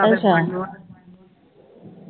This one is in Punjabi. ਅੱਛਾ